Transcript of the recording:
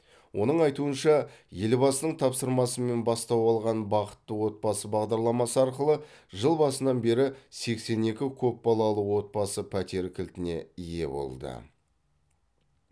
оның айтуынша елбасының тапсырмасымен бастау алған бақытты отбасы бағдарламасы арқылы жыл басынан бері сексен екі көпбалалы отбасы пәтер кілтіне ие болды